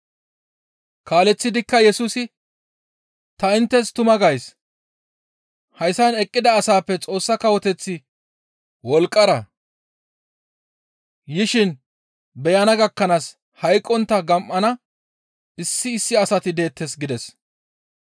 Kaaleththidikka Yesusi «Ta inttes tuma gays; hayssan eqqida asaappe Xoossa kawoteththi wolqqara yishin beyana gakkanaas hayqqontta gam7ana issi issi asati deettes» gides.